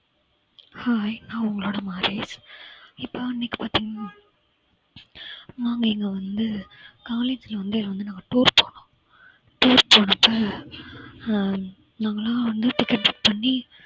hai நான் உங்களோட இப்ப இன்னைக்கு பார்த்தீங்க~ நாங்க இங்க வந்து college ல வந்து வந்து நாங்க tour போனோம் tour போன அப்ப அஹ் நாங்கலாம் வந்து ticket book பண்ணி